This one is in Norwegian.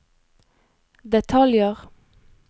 detaljer